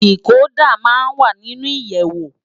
Dikódà má n wá ninú iyèwó